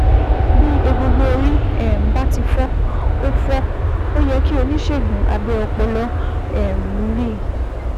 Bí egungun orí um bá ti fọ́, ó fọ́, ó yẹ kí oníṣègùn abẹ ọpọlọ um rí i